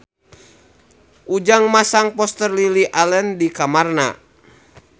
Ujang masang poster Lily Allen di kamarna